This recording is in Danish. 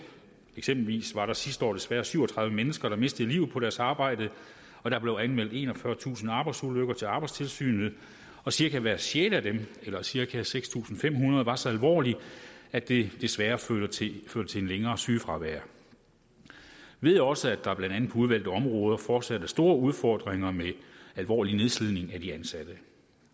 eksempelvis var der sidste år desværre syv og tredive mennesker der mistede livet på deres arbejde og der blev anmeldt enogfyrretusind arbejdsulykker til arbejdstilsynet og cirka hver sjette af dem eller cirka seks tusind fem hundrede var så alvorlig at det desværre førte til et længere sygefravær vi ved også at der blandt andet på udvalgte områder fortsat er store udfordringer med alvorlig nedslidning af de ansatte